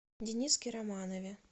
дениске романове